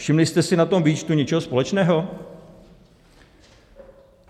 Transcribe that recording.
Všimli jste si na tom výčtu něčeho společného?